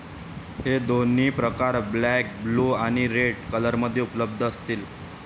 हे दोन्ही प्रकार ब्लॅक, ब्लू आणि रेड कलरमध्ये उपलब्ध असतील.